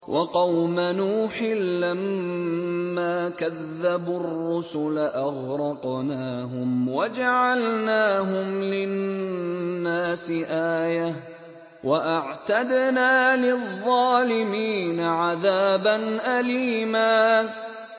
وَقَوْمَ نُوحٍ لَّمَّا كَذَّبُوا الرُّسُلَ أَغْرَقْنَاهُمْ وَجَعَلْنَاهُمْ لِلنَّاسِ آيَةً ۖ وَأَعْتَدْنَا لِلظَّالِمِينَ عَذَابًا أَلِيمًا